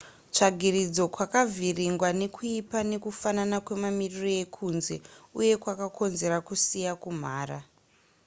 tsvagiridzo kwakavhiringwa nekuipa nekufanana kwemamiriro ekunze uko kwakakonzera kusiya kumhara